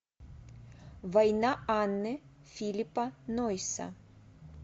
война анны филиппа нойса